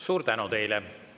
Suur tänu!